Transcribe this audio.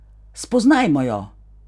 Spoznajmo jo!